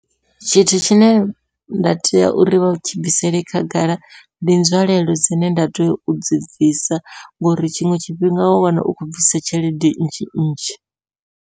Tshithu tshine nda tea uri vha tshi bvisele khagala ndi nzwalelo dzine nda tea udzi bvisa, ngori tshiṅwe tshifhinga wa wana u khou bvisa tshelede nnzhi nnzhi.